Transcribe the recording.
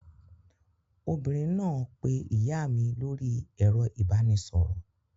Obìnrin náà pé ìyá mi lórí ẹ̀rọ ìbanisọ̀rọ̀.